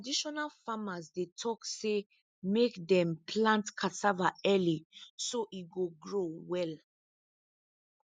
traditional farmers dey talk say make dem plant cassava early so e go grow well